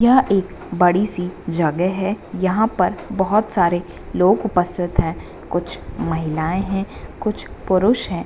यह एक बड़ी-सी जगह है यहाँ पर बहुत सारे लोग उपस्थित है कुछ महिलाएं है कुछ पुरुष है।